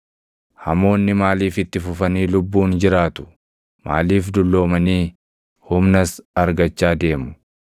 Hamoonni maaliif itti fufanii lubbuun jiraatu? Maaliif dulloomanii humnas argachaa deemu?